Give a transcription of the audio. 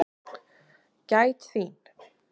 Gæt þín.